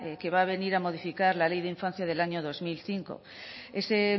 que va a venir a modificar la ley de infancia del año dos mil cinco ese